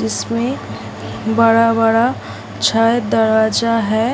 जिसमें बड़ा-बड़ा छत दरवाजा है।